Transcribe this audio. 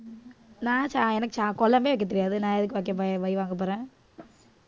நான் எனக்கு கொலம்பே வைக்கத் தெரியாது நான் எதுக்கு வெக்கபோறேன் வை வாங்கப் போறேன்